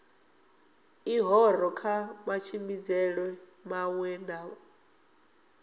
ḽihoro kha matshimbidzelwe maṅwe na